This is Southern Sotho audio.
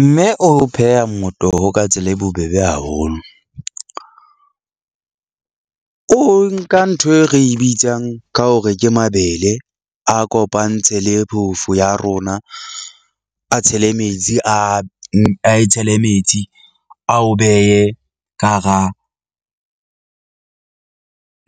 Mme o pheha motoho ka tsela e bobebe haholo. O nka ntho e re bitsang ka hore ke mabele. A kopantse le phofu ya rona, a tshele metsi a e tshele metsi, a o behe ka hara